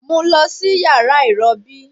Mu u lọ si yara irọbi